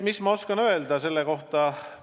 Mis ma oskan selle kohta öelda?